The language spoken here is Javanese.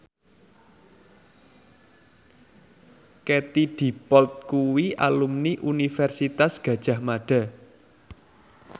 Katie Dippold kuwi alumni Universitas Gadjah Mada